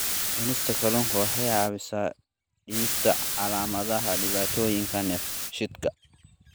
Cunista kalluunka waxa ay caawisaa dhimista calaamadaha dhibaatooyinka dheefshiidka.